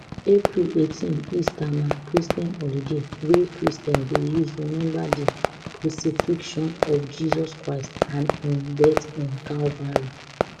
april eighteen easter na christian holiday wey christians dey use remember di crucifixion of jesus christ and im death on calvary